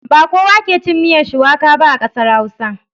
Ba kowa ke cin miyar shuwaka ba a ƙasar Hausa.